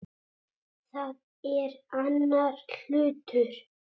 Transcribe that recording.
Það er annar hlutur.